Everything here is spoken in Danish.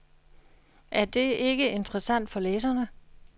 Er det ikke interessant for læserne?